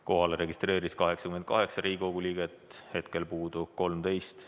Kohalolijaks registreerus 88 Riigikogu liiget, hetkel puudub 13.